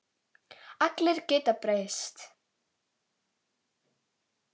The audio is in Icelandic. Allir geta breyst.